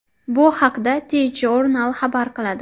Bu haqda TJournal xabar qiladi .